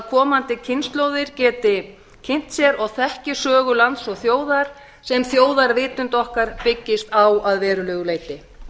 komandi kynslóðir geti kynnt sér og þekki sögu lands og þjóðar sem þjóðarvitund okkar byggist á að verulegu leyti